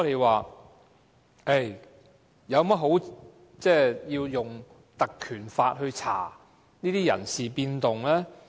為何我們要引用《條例》調查這些人事變動？